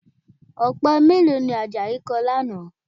Ọ̀pẹ mélòó ni Àjàyí kọ lánàá?